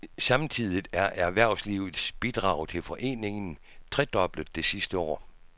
Samtidigt er erhvervslivets bidrag til foreningen tredoblet det sidste år.